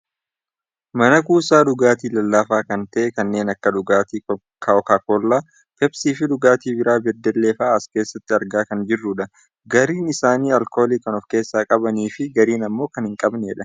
mana kuusaa dhugaatii lallaafaa kan ta'e kanneen akka dhugaatii kookaakoollaa, peepsii fi dhugaatii biiraa beddellee faa'aa as keessatti argaa kan jirrudha . gariin isaanii alkoolii kan of keessaa qabaniifi gariin ammoo kan hin qabnedha.